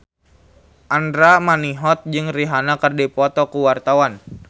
Andra Manihot jeung Rihanna keur dipoto ku wartawan